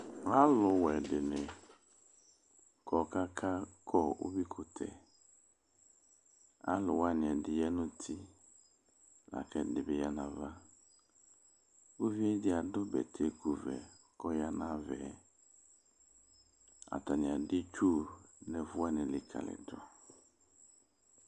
Alʋwɛ dɩnɩ kɔ kʋ akakɔ uyuikʋtɛ Alʋ wanɩ ɛdɩ ya nʋ uti la kʋ ɛdɩnɩ bɩ ya nʋ ava Uvi dɩ adʋ bɛtɛkuvɛ kʋ ɔya nʋ ava yɛ Atanɩ adʋ itsu nʋ ɛfʋ wanɩ likǝlidu